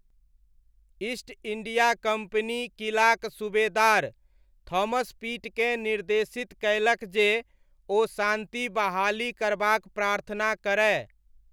East India Company किलाक सूबेदार Thomas पिटकेँ निर्देशित कयलक जे ओ शान्ति बहाली करबाक प्रार्थना करय।